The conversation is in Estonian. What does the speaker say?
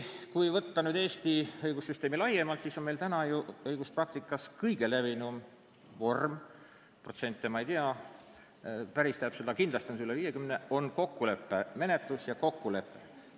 Kui vaadata Eesti õigussüsteemi laiemalt, siis on näha, et meie õiguspraktikas kõige levinum vorm – protsente ma täpselt ei tea, kindlasti on selle osatähtsus üle 50% – on kindlasti kokkuleppemenetlus ja kokkulepe.